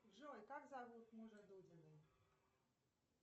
джой как зовут мужа дудиной